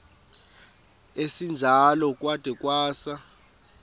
esinjalo kwada kwasa